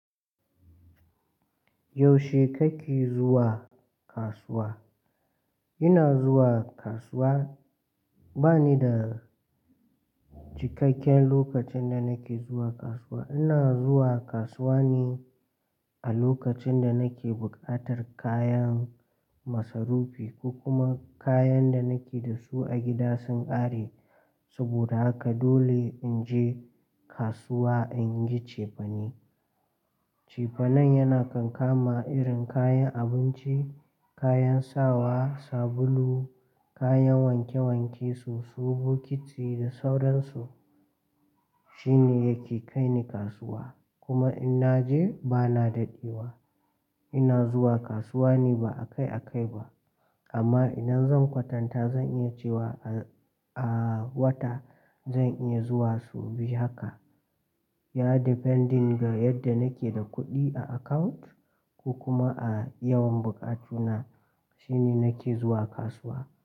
Yaushe kake zuwa kasuwa? Ina zuwa kasuwa, bani da cikakken lokacin da nake zuwa kasuwa. Ina zuwa kasuwa ne a lokacin da nake buƙatar kayan masarufi ko kuma kayan da nake da su a gida sun ƙare. Saboda haka dole in je kasuwa in yi cefane. Cefanen yana kankama irin kayan abinci, kayan sawa, sabulu, kayan wanke wanke soso, bokiti da sauran su. Shine yake kai ni kasuwa. Kuma in na je ba na daɗewa. Ina zuwa kasuwa ne ba a kai a kai ba. Amma idan zan kwatanta zan iya cewa a, a wata zan iya zuwa sau biyu haka. Ya depending ga yadda nake da kuɗi a account, ko kuma a yawan buƙatuna shine nake zuwa kasuwa.